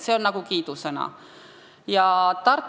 See on kiiduväärt.